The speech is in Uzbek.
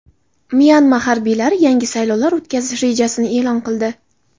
Myanma harbiylari yangi saylovlar o‘tkazish rejasini e’lon qildi.